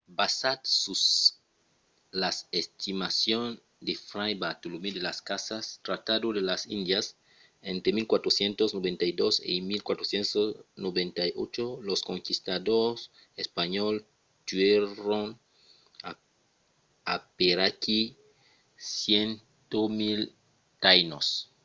basat sus las estimacions de fray bartolomé de las casas tratado de las indias entre 1492 e 1498 los conquistadors espanhòls tuèron aperaquí 100.000 taínos